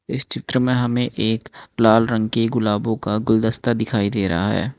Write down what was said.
इस चित्र में हमें एक लाल रंग के गुलाबो का गुलदस्ता दिखाई दे रहा है।